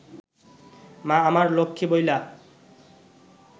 মা আমার লক্ষ্মী বইলা